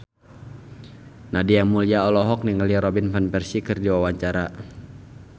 Nadia Mulya olohok ningali Robin Van Persie keur diwawancara